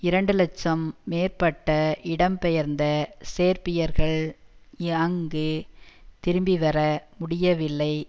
இரண்டு இலட்சம் மேற்பட்ட இடம் பெயர்ந்த சேர்பியர்கள் அங்கு திரும்பி வர முடியவில்லை